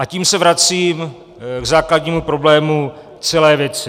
A tím se vracím k základnímu problému celé věci.